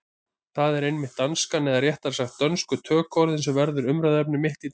Það er einmitt danskan, eða réttara sagt dönsku tökuorðin, sem verður umræðuefni mitt í dag.